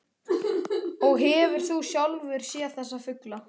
Og hefur þú sjálfur séð þessa fugla?